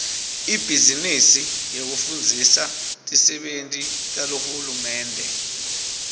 ibhizinisi yekufundzisa tisebenti tahulumende